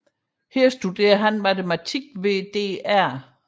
Her studerede han matematik hos dr